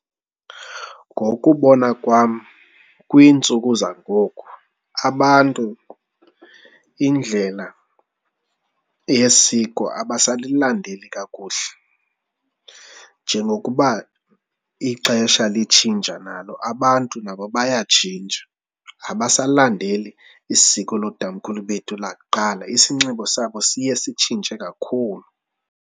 Ngokubona kwam kwiintsuku zangoku abantu indlela yesiko abasalilandeli kakuhle. Njengokuba ixesha litshintsha nalo abantu nabo bayatshintsha abasalilandeleli isiko lootatomkhulu bethu lakuqala, isinxibo sabo siye sitshintshe kakhulu.